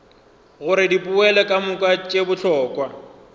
gore dipoelo kamoka tše bohlokwa